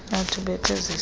art ubethe zesize